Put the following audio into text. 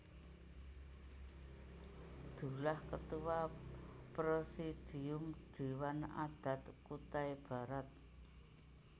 Dullah Ketua Presidium Dewan Adat Kutai Barat